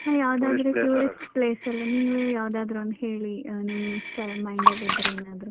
ಹ ಯಾವ್ದಾದ್ರು tourist . tourist place ಆ place ಅಲ್ಲೇ ನೀವೆ ಯಾವ್ದಾದ್ರು ಒಂದು ಹೇಳಿ ಅಹ್ ನಿಮ್ ತಲೆ mind ನಲ್ಲಿ ಇದ್ರೆ ಏನಾದ್ರು.